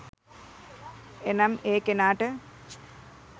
එනම් ඒ කෙනාට